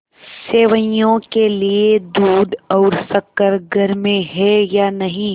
सेवैयों के लिए दूध और शक्कर घर में है या नहीं